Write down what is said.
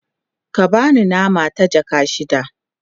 ka bani nama ta jaka shida